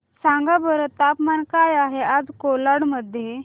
सांगा बरं तापमान काय आहे आज कोलाड मध्ये